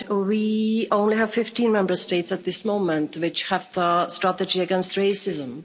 We only have 15 Member States at this moment which have a strategy against racism.